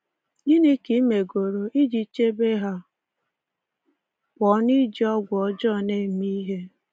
Gịnị ka i megoro iji chebe ha pụọ n’iji ọgwụ ọjọọ na-eme ihe?